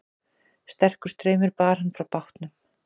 Sterkur straumur bar hann frá bátnum